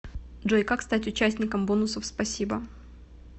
джой как стать участником бонусов спасибо